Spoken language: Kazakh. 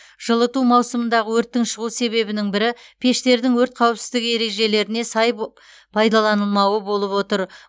жылыту маусымындағы өрттің шығу себебінің бірі пештердің өрт қауіпсіздігі ережелеріне сай бо пайдаланылмауы болып отыр